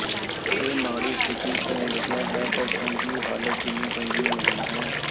ਇਹ ਮਾੜੀ ਸਥਿਤੀ ਤੋਂ ਵਧੀਆ ਹੈ ਪਰ ਚੰਗੀ ਹਾਲਤ ਜਿੰਨੀ ਚੰਗੀ ਨਹੀਂ ਹੈ